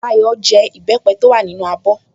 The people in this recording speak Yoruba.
Dayọ̀ jẹ ìbẹ́pẹ́ tó wà nínú abọ́